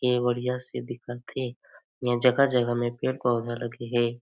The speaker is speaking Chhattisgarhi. ये बढ़िया से दिखत हे यहाँ जगह - जगह मे पेड़ पौधा लगे हे।